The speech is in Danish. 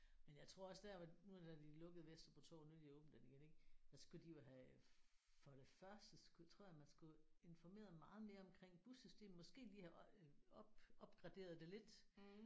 Men jeg tror også der hvor nu da de lukkede Vesterbro Torv nu har de åbnet den igen ik der skulle de jo have for det første skulle tror jeg man skulle informeret meget mere om bussystemet måske lige have øh op opgraderet det lidt